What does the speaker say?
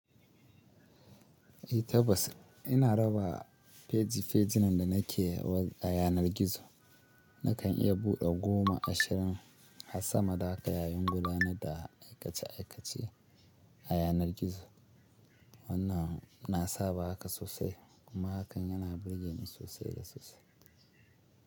Eh tabbas ina raba feji fejinan da nake a yanar gizo. Nakan iya buɗe goma, ashirin har sama da haka yayin gudanar da aikace aikace a yanar gizo. Wannan na saba haka sosai kuma hakan yana burge ni sosai da sosai.